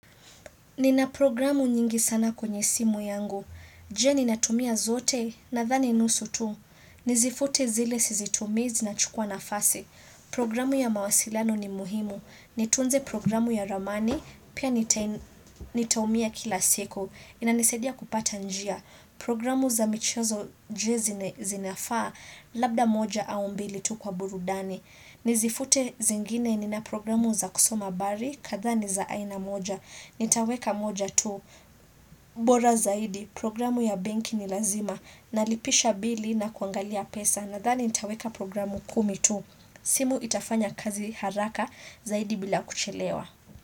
Nina programu nyingi sana kwenye simu yangu. Je ninatumia zote nadhani nusu tu. Nizifute zile sizitumi zinachukua nafasi. Programu ya mawasilano ni muhimu. Nitunze programu ya ramani, pia nitaumia kila siku. Inanisaidia kupata njia. Programu za michezo je zinafaa, labda moja au mbili tu kwa burudani. Nizifute zingine nina programu za kusoma habari, kadhaa ni za aina moja. Nitaweka moja tu. Bora zaidi. Programu ya benki ni lazima. Nalipisha bili na kuangalia pesa. Nathani nitaweka programu kumi tu. Simu itafanya kazi haraka zaidi bila kuchelewa.